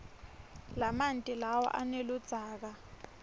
lamanti lawa aneludzaka